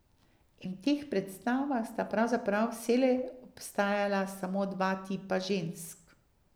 In v teh predstavah sta pravzaprav vselej obstajala samo dva tipa žensk.